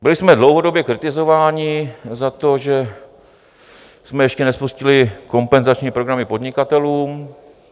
Byli jsme dlouhodobě kritizováni za to, že jsme ještě nespustili kompenzační programy podnikatelům.